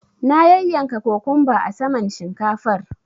Na yanyanka kokumba a saman shinkafar.